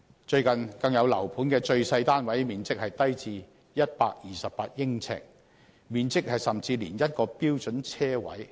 最近，更有樓盤的最細單位面積只有128呎，甚至小於一個標準車位。